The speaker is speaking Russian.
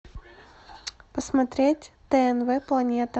посмотреть тнв планета